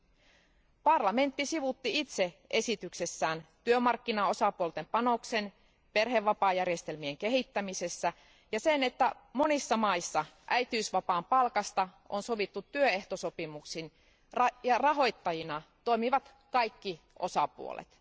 Euroopan parlamentti sivuutti itse esityksessään työmarkkinaosapuolten panoksen perhevapaajärjestelmien kehittämisessä sekä sen, että monissa maissa äitiysvapaan palkasta on sovittu työehtosopimuksin ja rahoittajina toimivat kaikki osapuolet.